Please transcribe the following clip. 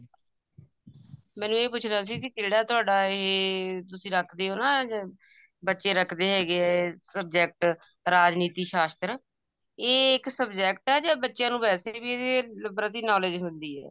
ਮੈਨੇ ਇਹ ਪੁੱਛਨਾ ਸੀ ਕਿਹੜਾ ਤੁਹਾਡਾ ਇਹ ਤੁਸੀਂ ਰੱਖਦੇ ਓ ਨਾ ਬੱਚੇ ਰੱਖਦੇ ਹੈਗੇ ਐ subject ਰਾਜਨੀਤੀ ਸ਼ਾਸਤਰ ਇਹ ਇੱਕ subject ਐ ਜਾ ਬੱਚਿਆ ਨੂੰ ਵੈਸੇ ਵੀ ਇਹਦੇ ਪ੍ਰਤੀ knowledge ਹੁੰਦੀ ਐ